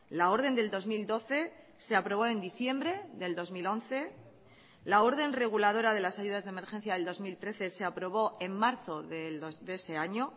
la orden del dos mil doce se aprobó en diciembre del dos mil once la orden reguladora de las ayudas de emergencia del dos mil trece se aprobó en marzo de ese año